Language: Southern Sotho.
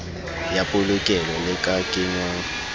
ya polokelo le ka kenngwang